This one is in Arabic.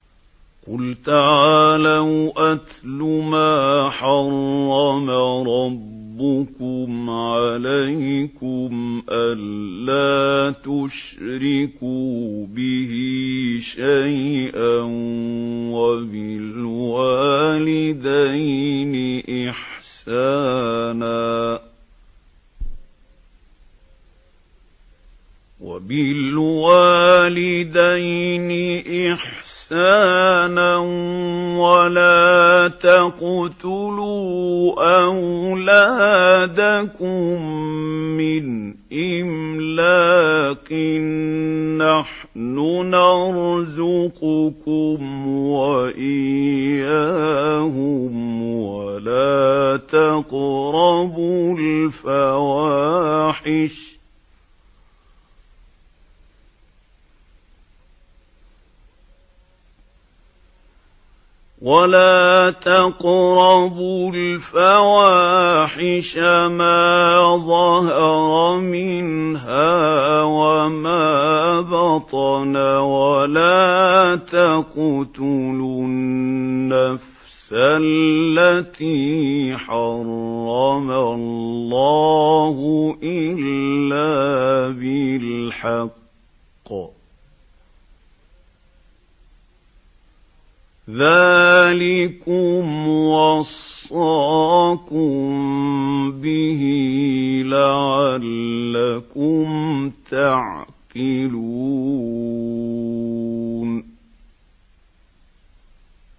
۞ قُلْ تَعَالَوْا أَتْلُ مَا حَرَّمَ رَبُّكُمْ عَلَيْكُمْ ۖ أَلَّا تُشْرِكُوا بِهِ شَيْئًا ۖ وَبِالْوَالِدَيْنِ إِحْسَانًا ۖ وَلَا تَقْتُلُوا أَوْلَادَكُم مِّنْ إِمْلَاقٍ ۖ نَّحْنُ نَرْزُقُكُمْ وَإِيَّاهُمْ ۖ وَلَا تَقْرَبُوا الْفَوَاحِشَ مَا ظَهَرَ مِنْهَا وَمَا بَطَنَ ۖ وَلَا تَقْتُلُوا النَّفْسَ الَّتِي حَرَّمَ اللَّهُ إِلَّا بِالْحَقِّ ۚ ذَٰلِكُمْ وَصَّاكُم بِهِ لَعَلَّكُمْ تَعْقِلُونَ